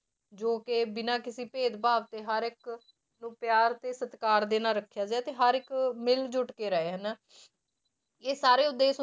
ਜੋ ਕਿ ਬਿਨਾਂ ਕਿਸੇ ਭੇਦਭਾਵ ਦੇ ਹਰ ਇੱਕ ਨੂੰ ਪਿਆਰ ਤੇ ਸਤਿਕਾਰ ਦੇ ਨਾਲ ਰੱਖਿਆ ਗਿਆ ਤੇ ਹਰ ਇੱਕ ਮਿਲ ਜੁੱਟ ਕੇ ਰਹੇ ਹਨਾ ਇਹ ਸਾਰੇ